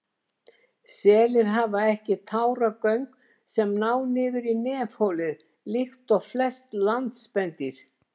Selir hafa ekki táragöng sem ná niður í nefholið líkt og flest landspendýr.